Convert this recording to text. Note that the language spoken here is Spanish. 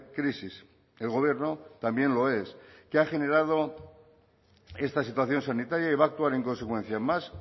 crisis el gobierno también lo es que ha generado esta situación sanitaria y va a actuar en consecuencia más